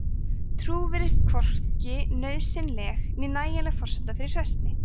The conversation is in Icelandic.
trú virðist hvorki nauðsynleg né nægjanleg forsenda fyrir hræsni